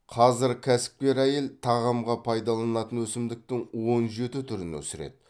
қазір кәсіпкер әйел тағамға пайдаланатын өсімдіктің он жеті түрін өсіреді